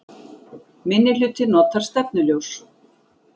Minnihluti notar stefnuljós